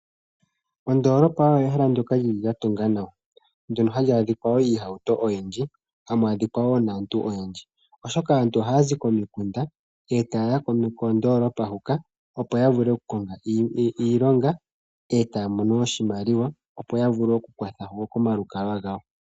Ondoolopa oyo ehala ndoka lili lyatungwa nawa ndono hamu adhika woo iihauto oyindji, hamu adhika woo naantu oyendji oshoka aantu ohayazi komikunda e tayeya koondoolopa hoka opo yavule oku konga iilonga taya mono oshimaliwa opo ya vule okukuthamo omalukalwa gawo.